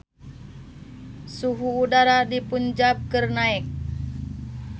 Suhu udara di Punjab keur naek